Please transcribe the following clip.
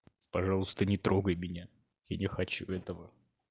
пожалуйста не трогай меня я не хочу этого